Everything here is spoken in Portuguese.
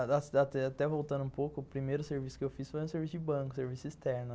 Até voltando um pouco, o primeiro serviço que eu fiz foi um serviço de banco, serviço externo.